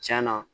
Cɛn na